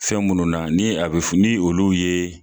Fɛn munnu na ni a fe ni olu ye